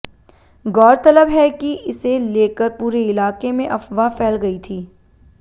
गौरतलब है कि इसे लेकर पूरे इलाके में अफवाह फैल गई थी